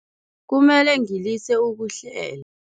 Kumele ngilise ukuhlela.